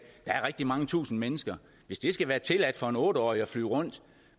der er mange tusinde mennesker hvis det skal være tilladt for en otte årig at flyve rundt